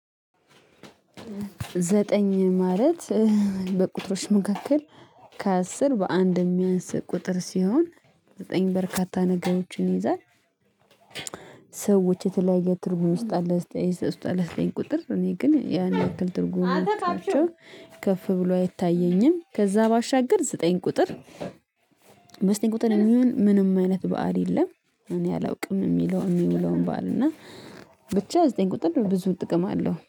ዘጠኝ ማለት በቁጥሮች መካከል ከአስር በአንድ የሚያንስ ቁጥር ሲሆን ዘጠኝ በርካታ ነገሮችን ይይዛል። ሰዎች የተለያየ ትርጉም ውስጥ አለ ውስጥ አለ። ዘጠኝ ቁጥር እኔ ግን ያን ያክል ትርጉም አታችሁ ከፍ ብሎ አይታየኝም። ከዛ ባሻገር ዘጠኝ ቁጥር። ዘጠኝ ቁጥር ምንም አይነት በዓል የለም። እኔ አላውቅም የሚለው የሚለውን ባል እና ብቻ ዘጠኝ ቁጥር ብዙ ጥቅም አለው